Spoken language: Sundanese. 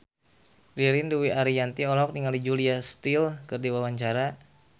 Ririn Dwi Ariyanti olohok ningali Julia Stiles keur diwawancara